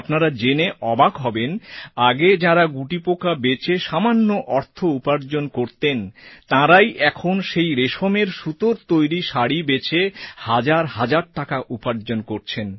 আপনারা জেনে অবাক হবেন আগে যাঁরা গুটিপোকা বেচে সামান্য অর্থ উপার্জন করতেন তাঁরাই এখন সেই রেশমের সুতোর তৈরি শাড়ি বেচে হাজার হাজার টাকা উপার্জন করছেন